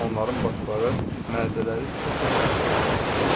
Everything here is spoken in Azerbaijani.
Onların başları, mədələri çox yaxşı işləyir.